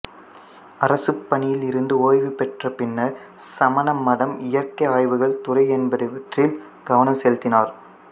அரசுப் பணியில் இருந்து ஓய்வு பெற்ற பின்னர் சமண மதம் இயற்கை ஆய்வுகள் துறை என்பவற்றில் கவனம் செலுத்தினார்